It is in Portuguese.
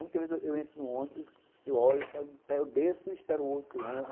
Muitas vezes eu eu entro no ônibus, eu olho, eu desço e espero o outro ônibus.